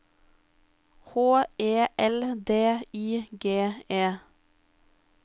H E L D I G E